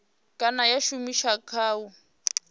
kana ya shumiswa kha u